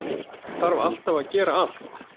Þarf alltaf að gera allt.